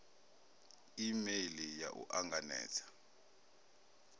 e meili ya u anganedza